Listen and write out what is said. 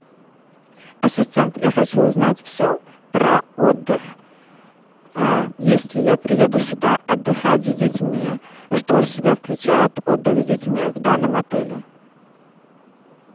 ассистент я хочу узнать все про отдых если я приеду сюда отдыхать с детьми что в себя включает отдых с детьми в данном отеле